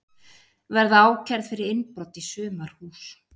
Verða ákærð fyrir innbrot í sumarhús